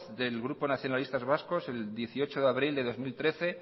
del grupo nacionalistas vascos el dieciocho de abril de dos mil trece